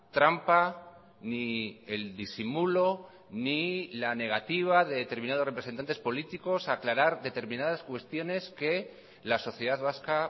trampa ni el disimulo ni la negativa de determinados representantes políticos a aclarar determinadas cuestiones que la sociedad vasca